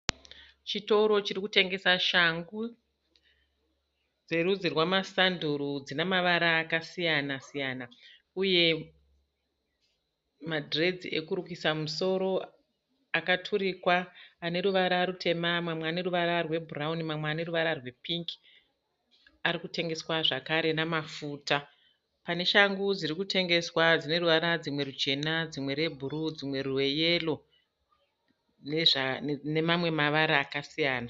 Chitoro chirikutengesa shangu dzerudzi rwemasanduru . Dzinamavara akasiyana siyana uye ma dreads ekurukisa musoro akaturikwa. Ane ruvara rutema, mamwe ane ruvara rwe bhurauni, mamwe ane ruvara rwe pingi, arikutengeswa zvekare namafuta. Pane shangu dzirikutengeswa dzine ruvara dzimwe ruchena, dzimwe re bhuruu, dzimwe rweyero nemamwe mavara akasiyana.